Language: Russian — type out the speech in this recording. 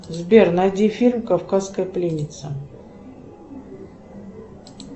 сбер найди фильм кавказская пленница